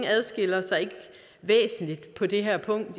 adskiller sig væsentligt på det her punkt